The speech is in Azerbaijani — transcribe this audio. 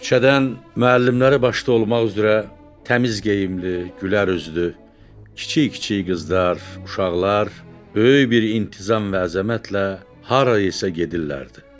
Küçədən müəllimləri başda olmaq üzrə təmiz geyimli, gülər üzlü, kiçik-kiçik qızlar, uşaqlar böyük bir intizam və əzəmətlə harayısa gedirlərdi.